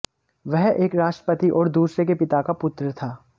वह एक राष्ट्रपति और दूसरे के पिता का पुत्र था